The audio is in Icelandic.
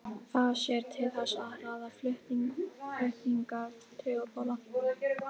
það sér til þess að hraða flutningi taugaboða